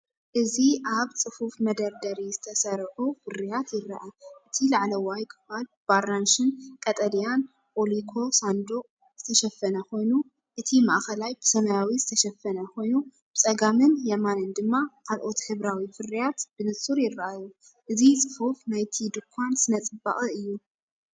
እዚ ኣብ ጽፉፍ መደርደሪ ዝተሰርዑ ፍርያት ይረአ፤ እቲ ላዕለዋይ ክፋል ብኣራንሺን ቀጠልያን ኦሊኮ ሳንዱቕ ዝተሸፈነ ኮይኑ፡ እቲ ማእከላይ ብሰማያዊ ዝተሸፈነ ኮይኑ፡ ብጸጋምን የማንን ድማ ካልኦት ሕብራዊ ፍርያት ብንጹር ይረኣዩ። እዚ ጽፉፍ ናይቲ ድኳን ስነ-ጽባቐ እዩ።